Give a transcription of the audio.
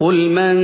قُلْ مَن